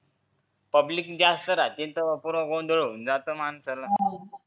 public जास्त राहते त पुरा गोंधळ होऊन जाते माणसाला